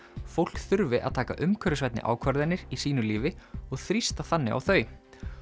fólk þurfi að taka umhverfisvænni ákvarðanir í sínu lífi og þrýsta þannig á þau